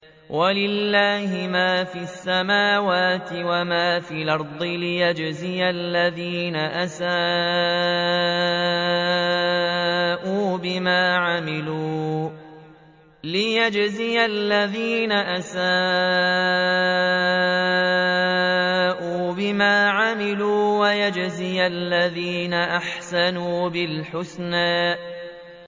وَلِلَّهِ مَا فِي السَّمَاوَاتِ وَمَا فِي الْأَرْضِ لِيَجْزِيَ الَّذِينَ أَسَاءُوا بِمَا عَمِلُوا وَيَجْزِيَ الَّذِينَ أَحْسَنُوا بِالْحُسْنَى